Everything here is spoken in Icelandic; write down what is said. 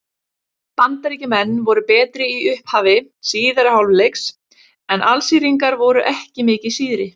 Bandaríkjamenn voru betri í upphafi síðari hálfleiks en Alsíringar voru ekki mikið síðri.